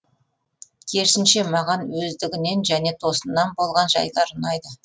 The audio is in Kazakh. керісінше маған өздігінен және тосыннан болған жайлар ұнайды